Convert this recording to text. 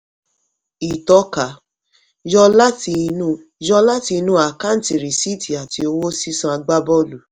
ìtọ́ka: yọ láti inú yọ láti inú àkáǹtì rìsíìtì àti owó sísan agbábọ́ọ̀lù.